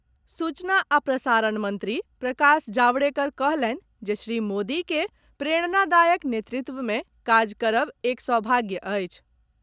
सूचना आ प्रसारण मंत्री प्रकाश जावड़ेकर कहलनि जे श्री मोदी के प्रेरणादायक नेतृत्व मे काज करब एक सौभाग्य अछि।